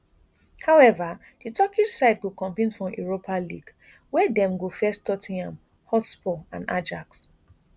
however di turkish side go compete for europa league wia dem go face tot ten ham hotspur and ajax